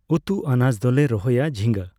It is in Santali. ᱩᱛᱩ ᱟᱱᱟᱡᱽ ᱫᱚᱞᱮ ᱨᱚᱦᱚᱭᱟ ᱡᱷᱤᱸᱜᱟᱹ᱾